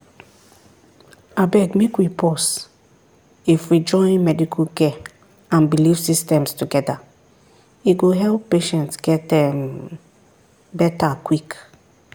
abeg make we pause if we join medical care and belief systems together e go help patients get um better quick.